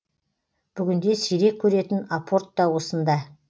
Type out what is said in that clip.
бүгінде сирек көретін апорт та осында